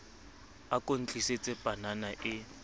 a ko ntlisetse panana e